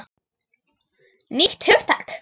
Nýtt hugtak!